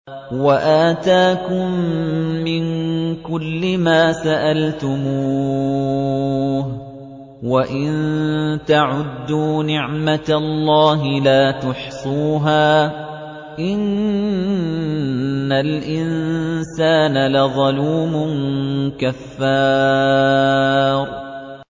وَآتَاكُم مِّن كُلِّ مَا سَأَلْتُمُوهُ ۚ وَإِن تَعُدُّوا نِعْمَتَ اللَّهِ لَا تُحْصُوهَا ۗ إِنَّ الْإِنسَانَ لَظَلُومٌ كَفَّارٌ